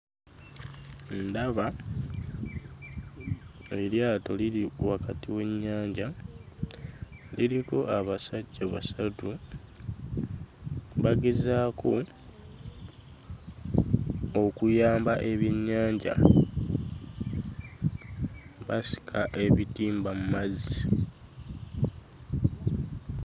Ndaba eryato liri wakati w'ennyanja. Liriko abasajja basatu, bagezaako okuyamba ebyennyanja, basika ebitimba mu mazzi.